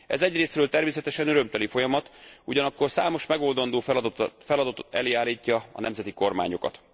Ez egyrészről természetesen örömteli folyamat, ugyanakkor számos megoldandó feladat elé állítja a nemzeti kormányokat.